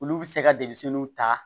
Olu bɛ se ka denmisɛnninw ta